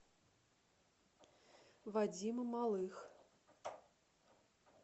вадима малых